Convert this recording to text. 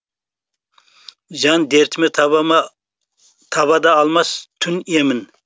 жан дертіме таба да алмас түн емін